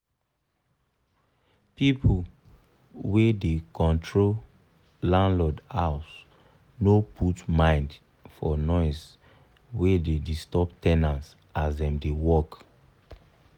pipu wey da control landlord house no put mind for noise we da disturb ten ant as dem da work